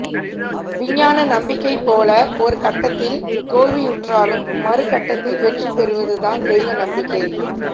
விஞ்ஞான நம்பிக்கை போல ஒரு கட்டத்தில் தோல்வியுற்றாலும் மறு கட்டத்தில் வெற்றி பெறுவது தான் தெய்வ நம்பிக்கை